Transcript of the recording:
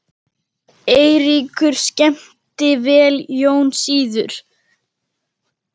Eiríkur skemmti vel, Jón síður.